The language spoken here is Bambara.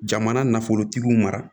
Jamana nafolotigiw mara